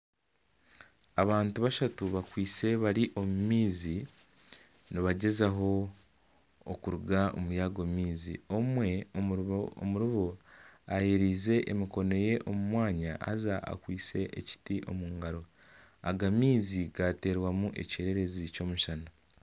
Abantu bashatu bakwitse bari omumaizi nibagyezaho okuruga omuri ago maizi omwe omurubo ayereize emikono ye omumwanya haza akwitse ekiti omungaro aga maizi gaterwamu ekyererezi ky'omushana.